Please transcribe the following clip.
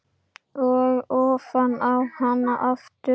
Og ofan í hana aftur.